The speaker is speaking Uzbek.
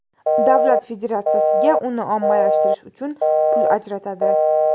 Davlat federatsiyaga uni ommalashtirish uchun pul ajratadi.